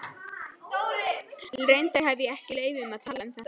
Reyndar hefi ég ekki leyfi til að tala um þetta.